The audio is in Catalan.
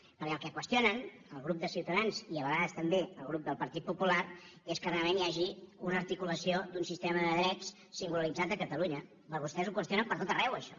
perquè el que qüestionen el grup de ciutadans i a vegades també el grup del partit popular és que realment hi hagi una articulació d’un sistema de drets singularitzat a catalunya però vostès ho qüestionen per tot arreu això